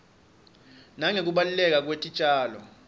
nangekubaluleka kwetitjalo